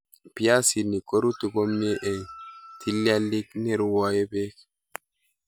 Piasinik korutu komie en ptilialit nerwoe beek